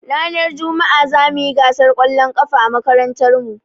Ranar juma'a zamuyi gasar ƙwallon ƙafa a makarantar mu